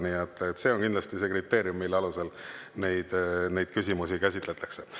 Nii et see on kriteerium, mille alusel neid küsimusi käsitletakse.